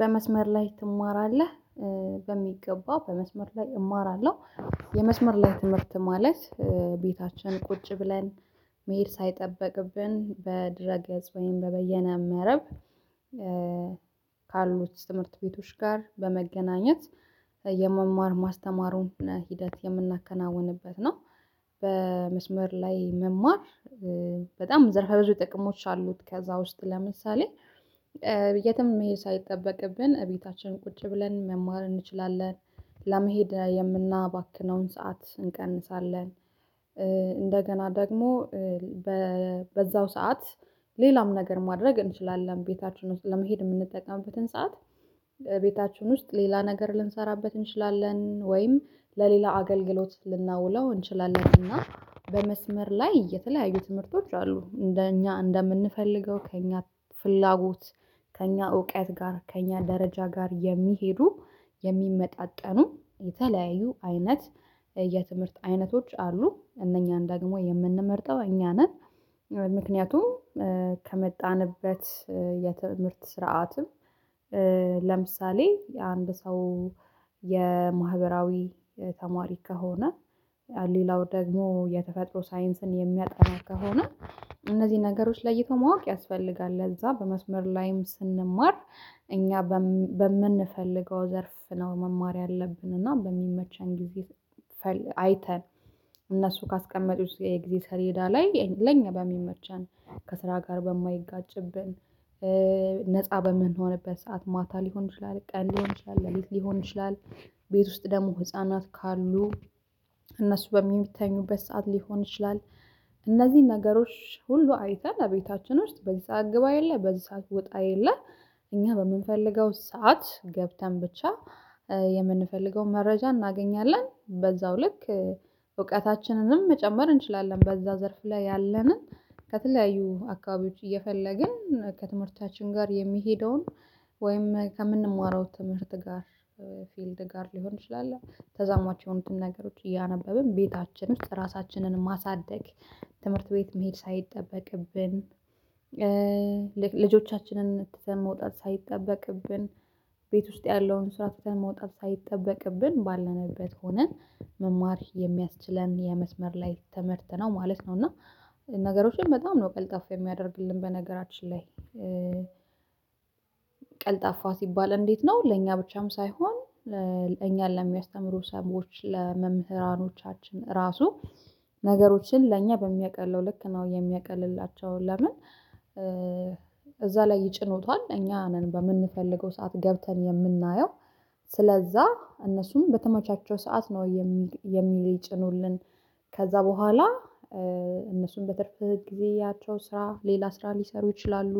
በመስመር ላይ ትማራለህ? በሚገባ በመስመር ላይ እማራለሁ የመስመር ላይ ትምህርት ማለት ቤታችን ቁጭ ብለን መሄድ ሳይጠበቅብን በድረገጽ ወይም በበየነ መረብ ካሉት ትምህርት ቤቶች ጋር በመገናኘት የመማር ማስተማሩን ሂደት የምናከናውንበት ነው። በመስመር ላይ መማር በጣም ዘርፈ ብዙ ጥቅሞች አሉት። ከዛ ውስጥ ለምሳሌ የትም መሄድ ሳይጠበቅብን እቤታችን ቁጭ ብለን መማር እንችላለን ለመሄድ የምናባክነውን ሰዓት እንቀንሳለን። እንደገና ደግሞ በዛው ሰዓት ሌላም ነገር ማድረግ እንችላለን ቤታችን ውስጥ ለመሄድ የምንጠቀምበትን ሰዓት ቤታችን ውስጥ ሌላ ነገር ልንሰራበት እንችላለን ወይም ለሌላ አገልግሎት ልናውለው እንችላለን። እና በመስመር ላይ የተለያዩ ትምህርቶች አሉ እንደኛ እንደምንፈልገው ከእኛ ፍላጎት ከእኛ እውቀት ጋር ከእኛ ደረጃ ጋር የሚሄዱ የሚመጣጠኑ የተለያዩ አይነት የትምህርት አይነቶች አሉ እነኛን ደግሞ የምንመርጠው እኛ ነን። ምክንያቱም ከመጣንበት የትምህርት ስርዓትም ለምሳሌ የአንድ ሰው የማህበራዊ ተማሪ ከሆነ ሌላው ደግሞ የተፈጥሮ ሳይንስን የሚያጠና ከሆነ እነዚህ ነገሮች ለይቶ ማወቅ ያስፈልጋል። ለዛ በመስመር ላይም ስንማር እኛ በምንፈልገው ዘርፍ ነው መማር ያለብን እና በሚመቸን ጊዜ አይተን እነሱ ካስቀመጡት የጊዜ ሰሌዳ ላይ ለኛ በሚመቻቸው ከስራ ጋር በማይጋጭብን ነፃ በምንሆንበት ሰዓት ማታ ሊሆን ይችላል ቀን ሊሆን ይችላል ለሊት ሊሆን ይችላል። ቤት ውስጥ ደግሞ ህፃናት ካሉ እነሱ በሚተኙበት ሰዓት ሊሆን ይችላል። እነዚህን ነገሮች ሁሉ አይተን አቤታችን ውስጥ በዚህ ሰዓት ግባ የለ በዚህ ሰዓት ውጣ የለ። እኛ በምንፈልገው ሰዓት ገብተን ብቻ የምንፈልገውን መረጃ እናገኛለን በዛው ልክ እውቀትችንንም መጨመር እንችላለን በዛ ዘርፍ ላይ ያለንን ከተለያዩ አካባቢዎች እየፈለግን ከትምህርታችን ጋር የሚሄደውን ወይም ከምንማረው ትምህርት ጋር ፊልድ ጋር ሊሆን ይችላል። ተዛማች የሆኑትን ነገሮች እያነበብን ቤታችን ውስጥ ራሳችንን ማሳደግ ትምህርት ቤት መሄድ ሳይጠበቅብን ልጆቻችንን ትተን መውጣት ሳይጠበቅብን ቤት ውስጥ ያለውን ስራ ተተን መውጣት ሳይጠበቅብን ባለንበት ሆነን መማር የሚያስችለን የመስመር ላይ ትምህር ነው ማለት ነው። እና ነገሮችን በጣም ነው ቀልጣፍ የሚያደርግልን በነገራችን ላይ ቀልጣፋ ሲባል እንዴት ነው ለእኛ ብቻም ሳይሆን እኛን ለሚያስተምሩ ሰሞኑ ለመምህራኖቻችን ራሱ ነገሮችን ለእኛ በሚያቀለው ልክ ነው የሚያቀልላቸው ለምን? እዛ ላይ ይጭኖታል እኛ ነን በምንፈልገው ሰዓት ገብተን የምናየው ስለዛ እነሱም በተመቻቸው ሰዓት ነው የሚጭኑልን ከዛ በኋላ እነሱም በትርፍ ጊዜያቸው ስራ ሌላ ስራ ሊሰሩ ይችላሉ።